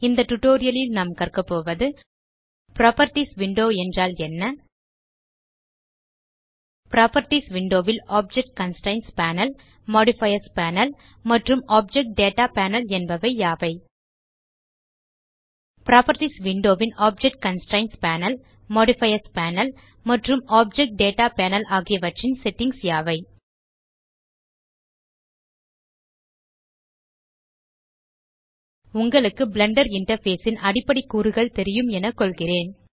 இந்த டியூட்டோரியல் ல் நாம் கற்க போவது புராப்பர்ட்டீஸ் விண்டோ என்றால் என்ன புராப்பர்ட்டீஸ் விண்டோ ல் object constraints panel modifiers panel மற்றும் ஆப்ஜெக்ட் டேட்டா பேனல் என்பவை யாவை160 புராப்பர்ட்டீஸ் விண்டோ ன் object constraints panel modifiers panel மற்றும் ஆப்ஜெக்ட் டேட்டா பேனல் ஆகியவற்றின் செட்டிங்ஸ் யாவை உங்களுக்கு பிளெண்டர் இன்டர்ஃபேஸ் ன் அடிப்படை கூறுகள் தெரியும் என கொள்கிறேன்